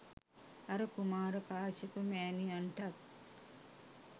අර කුමාර කාශ්‍යප මෑණියන්ටත්